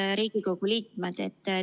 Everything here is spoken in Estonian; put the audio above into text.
Head Riigikogu liikmed!